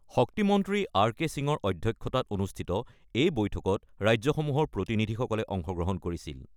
শক্তিমন্ত্ৰী R K সিঙৰ অধ্যক্ষতাত অনুষ্ঠিত এই বৈঠকত ৰাজ্যসমূহৰ প্ৰতিনিধিসকলে অংশগ্ৰহণ কৰিছিল।